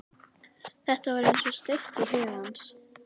Þetta var eins og steypt í huga hans.